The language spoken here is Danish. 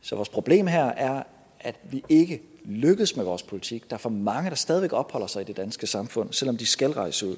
så vores problem her er at vi ikke lykkes med vores politik for er for mange der stadig opholder sig i det danske samfund selv om de skal rejse ud